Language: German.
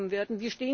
werden